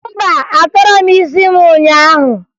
Mba, atọrọ m isi m ụnyaahụ